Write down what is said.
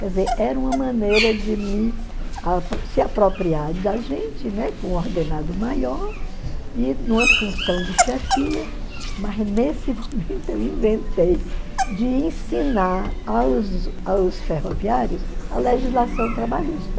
Quer dizer, era uma maneira de me se apropriar da gente, né, com um ordenado maior e numa função de chefia, mas nesse momento eu inventei de ensinar aos aos ferroviários a legislação trabalhista.